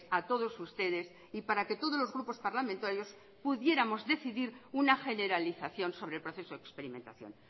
a todos ustedes y para que todos los grupos parlamentarios pudiéramos decidir una generalización sobre el proceso de experimentación